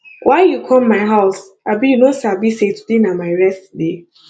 why you come my house abi you no sabi sey today na my rest day